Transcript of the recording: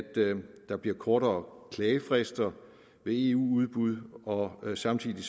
der bliver kortere klagefrister ved eu udbud og samtidig